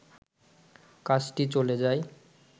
কাজটি চলে যায়